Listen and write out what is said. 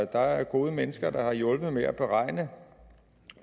der er gode mennesker der har hjulpet med at beregne